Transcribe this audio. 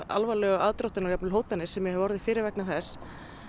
alvarlegu aðdróttanir og jafnvel hótanir sem ég hef orðið fyrir vegna þess